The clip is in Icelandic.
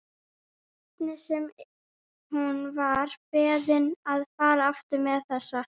Hvernig sem hún var beðin að fara aftur með þessa